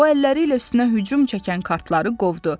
O əlləri ilə üstünə hücum çəkən kartları qovdu.